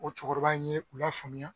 O cɔkɔrɔba in ye u la faamuya